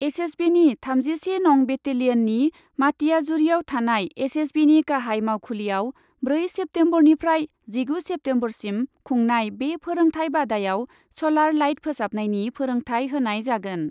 एसएसबिनि थामजिसे नं बेटेलियननि मातियाजुरियाव थानाय एसएसबिनि गाहाइ मावखुलियाव ब्रै सेप्टेम्बरनिफ्राय जिगु सेप्टेम्बरसिम खुंनाय बे फोरोंथाय बादायाव स'लार लाइट फोसाबनायनि फोरोंथाय होनाय जागोन।